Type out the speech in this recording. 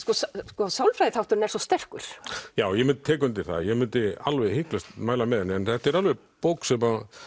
sko sálfræðiþátturinn er svo sterkur ég tek undir það ég mundi alveg hiklaust mæla með henni en þetta er alveg bók sem að